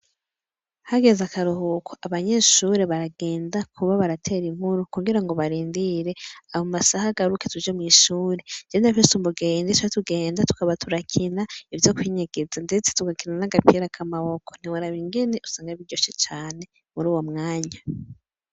Hageze akaruhuko abanyeshure baragenda kuba baratera inkuru kugira ngo barindire abo masaha agaruke tuje mw'ishure jenda vesumbugenda isa tugenda tukaba turakina ivyo kwinyigiza, ndetse tugakina n'agapira akamawoko ntiwaraba ingene usanga biryoshe cane muri uwo mwanya.